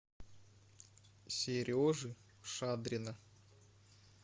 сережи шадрина